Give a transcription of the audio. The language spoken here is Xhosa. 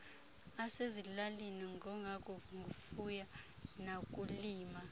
asezilalini angengowakufuya nakulima